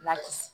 Lakisi